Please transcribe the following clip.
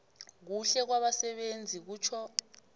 kuhle kwabasebenzi kutjho